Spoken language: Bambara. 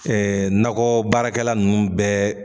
Ɛɛ nakɔ baarakɛla nunnu bɛɛ